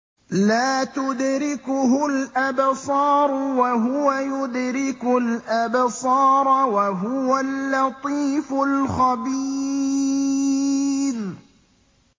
لَّا تُدْرِكُهُ الْأَبْصَارُ وَهُوَ يُدْرِكُ الْأَبْصَارَ ۖ وَهُوَ اللَّطِيفُ الْخَبِيرُ